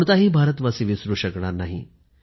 कोणताही भारतवासी विसरू शकणार नाही